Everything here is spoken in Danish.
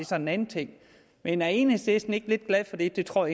så en anden ting men er enhedslisten ikke lidt glad for det det tror